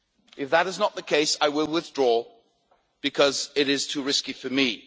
If that is not the case, I will withdraw, because it is too risky for me.